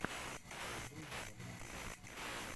андрей немодрук ютюб